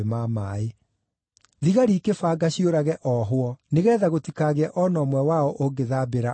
Thigari ikĩbanga ciũrage ohwo nĩgeetha gũtikagĩe o na ũmwe wao ũngĩthambĩra oore.